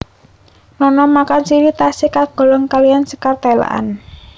Nona makan sirih tasih kagolong kaliyan sékar Telekan